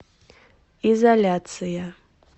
изоляция